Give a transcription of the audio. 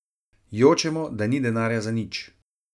Jočemo, da ni denarja za nič.